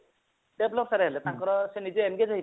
develop sir ହେଇଗଲେ ତାଙ୍କର ସେ ନିଜେ engaged ହେଇ